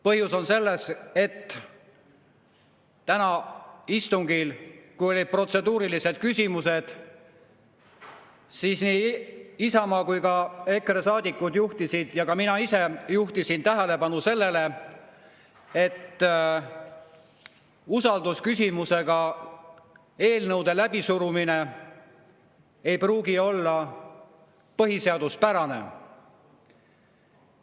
Põhjus on selles, et tänasel istungil, kui olid protseduurilised küsimused, nii Isamaa kui ka EKRE saadikud juhtisid ja ka mina ise juhtisin tähelepanu sellele, et eelnõude läbisurumine usaldusküsimusega ei pruugi olla põhiseaduspärane.